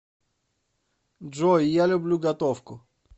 джой я люблю готовку